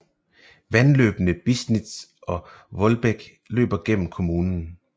Vandløbene Bisnitz og Wohldbek løber gennem kommunen